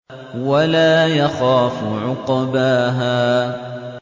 وَلَا يَخَافُ عُقْبَاهَا